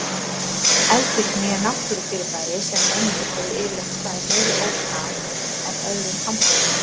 Eldvirkni er náttúrufyrirbæri sem mönnum hefur yfirleitt staðið meiri ógn af en öðrum hamförum.